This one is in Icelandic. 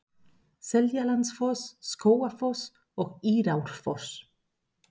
Seljalandsfoss, Skógafoss og Írárfoss.